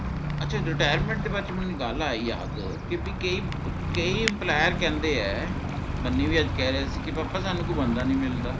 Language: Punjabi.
ਅੱਛਾ retirement ਦੇ ਬਾਦ ਚ ਮੈਨੂੰ ਇਕ ਗੱਲ ਆਈ ਯਾਦ ਕੇ ਬਈ ਕਈ ਅਹ ਕਈ employee ਕਹਿੰਦੇ ਏ ਬੰਨੀ ਵੀ ਅੱਜ ਕਹਿ ਰਿਹਾ ਸੀ ਕੇ ਪਾਪਾ ਕੇ ਸਾਨੂ ਕੋਈ ਬੰਦਾ ਨਹੀਂ ਮਿਲਦਾ